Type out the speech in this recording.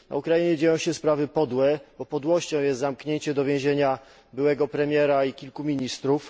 Na Ukrainie dzieją się sprawy podłe, bo podłością jest zamknięcie do więzienia byłego premiera i kilku ministrów.